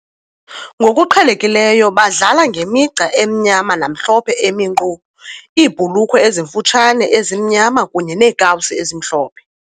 Ngokuqhelekileyo badlala ngemigca emnyama namhlophe emi nkqo, iibhulukhwe ezimfutshane ezimnyama kunye neekawusi ezimhlophe.